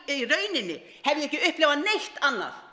rauninni hef ég ekki upplifað neitt annað